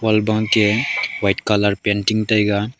ol bang khe white colour painting taiga.